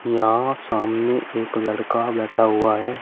यहां सामने एक लड़का बैठा हुआ है।